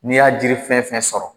N'i y'a jiri fɛn fɛn sɔrɔ